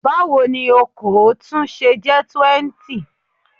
Báwo ni okòó tún ṣe jẹ́ 20?